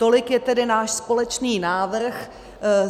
Tolik je tedy náš společný návrh.